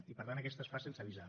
i per tant aquesta es fa sense avisar